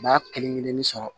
B'a kelen kelenni sɔrɔ